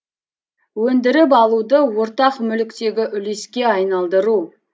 өндіріп алуды ортақ мүліктегі үлеске айналдыру